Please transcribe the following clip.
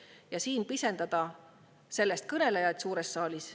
Ja siis pisendate sellest kõnelejaid suures saalis.